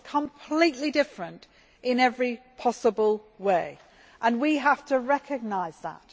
They are completely different in every possible way and we have to recognise that.